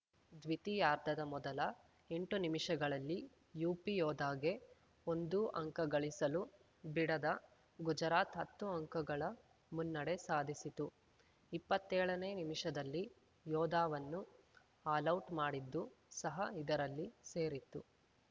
ದ್ವಿತೀಯಾರ್ಧದ ಮೊದಲ ಎಂಟು ನಿಮಿಷಗಳಲ್ಲಿ ಯುಪಿಯೋಧಾಗೆ ಒಂದೂ ಅಂಕ ಗಳಿಸಲು ಬಿಡದ ಗುಜರಾತ್‌ ಹತ್ತು ಅಂಕಗಳ ಮುನ್ನಡೆ ಸಾಧಿಸಿತು ಇಪ್ಪತ್ತೇಳನೇ ನಿಮಿಷದಲ್ಲಿ ಯೋಧಾವನ್ನು ಆಲೌಟ್‌ ಮಾಡಿದ್ದು ಸಹ ಇದರಲ್ಲಿ ಸೇರಿತ್ತು